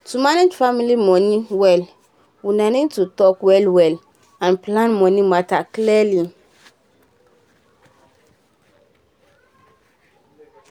to um manage family money well una need to talk well-well um and plan money matter clearly. um